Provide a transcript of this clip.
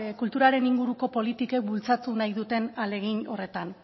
kulturaren inguruko politikek bultzatu nahi duten ahalegin horretan